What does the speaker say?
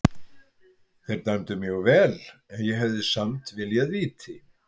Þeir dæmdu mjög vel en ég hefði samt viljað víti.